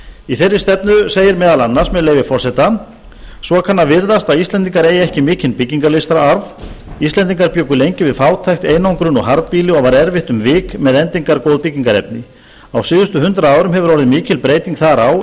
í þeirri stefnu segir meðal annars með leyfi forseta svo kann að virðast að íslendingar eigi ekki mikinn byggingarlistararf íslendingar bjuggu lengi við fátækt einangrun og harðbýli og var erfitt um vik með endingargóð byggingarefni á síðustu hundrað árum hefur orðið mikil breyting þar á